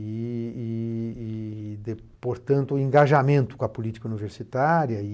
e e e, de portanto, o engajamento com a política universitária.